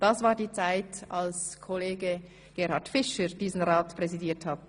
Das war die Zeit, als Kollege Gerhard Fischer diesen Rat präsidierte.